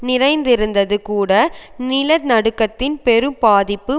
நிறைந்திருந்தது கூட நில நடுக்கத்தின் பெரும்பாதிப்பு